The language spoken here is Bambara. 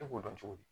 E b'o dɔn cogo di